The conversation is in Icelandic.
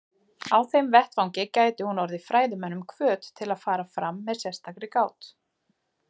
Á þeim vettvangi gæti hún orðið fræðimönnum hvöt til að fara fram með sérstakri gát.